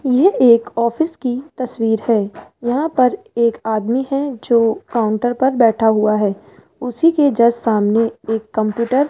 ये एक ऑफिस की तस्वीर है यहाँ पर एक आदमी है जो काउंटर पर बैठा हुआ है उसी के जस्टिस सामने एक कंप्यूटर --